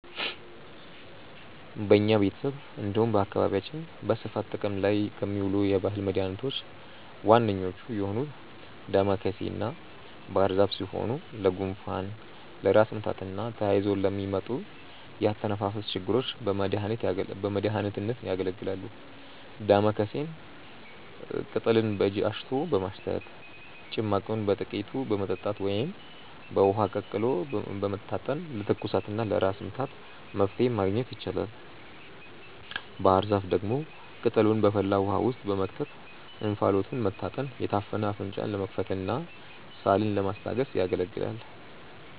በኛ ቤተሰብ እንዲሁም በአካባቢያችን በስፋት ጥቅም ላይ ከሚውሉ የባህል መድኃኒቶች ዋነኞቹ የሆኑት ዳማከሴና ባህርዛፍ ሲሆኑ ለጉንፋን፣ ለራስ ምታትና ተያይዘው ለሚመጡ የአተነፋፈስ ችግሮች በመድሀኒትነት ያገለግላሉ። ዳማከሴን ቅጠሉን በእጅ አሽቶ በማሽተት፣ ጭማቂውን በጥቂቱ በመጠጣት ወይም በውሃ ቀቅሎ በመታጠን ለትኩሳትና ለራስ ምታት መፍትሔ ማግኘት ይቻላል። ባህርዛፍ ደግሞ ቅጠሉን በፈላ ውሃ ውስጥ በመክተት እንፋሎቱን መታጠን የታፈነ አፍንጫን ለመክፈትና ሳልን ለማስታገስ ያገለግላል።